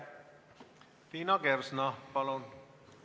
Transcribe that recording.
Liina Kersna, palun!